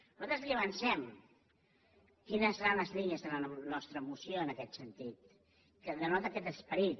nosaltres li avancem quines seran les línies de la nostra moció en aquest sentit que denota aquest esperit